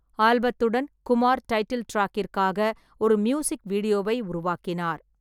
ஆல்பத்துடன், Kumar title டிராக்கிற்காக ஒரு music வீடியோவை உருவாக்கினார்.